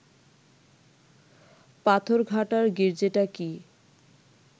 পাথরঘাটার গির্জেটা কি